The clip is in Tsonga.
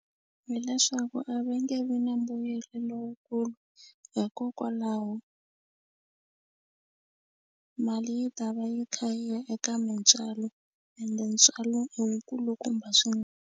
Hi leswaku a va nge vi na mbuyelo lowukulu hikokwalaho mali yi ta va yi kha yi ya eka mintswalo ende ntswalo i wu kulukumba .